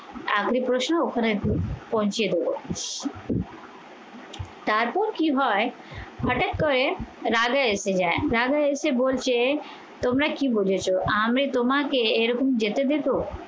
আপনি প্রশ্ন ওখানে পৌঁছে দেবো তারপর কি হয় হঠাৎ করে রাধা এসে যায়। রাধা এসে বলছে তোমরা কি বুজেছ আমি তোমাকে এরকম যেতে দেবো?